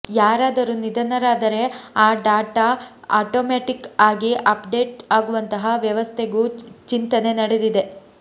ಯಾರಾದರೂ ನಿಧನರಾದರೆ ಆ ಡಾಟಾ ಆಟೋಮ್ಯಾಟಿಕ್ ಆಗಿ ಅಪ್ ಡೇಟ್ ಆಗುವಂತಹ ವ್ಯವಸ್ಥೆಗೂ ಚಿಂತನೆ ನಡೆದಿದೆ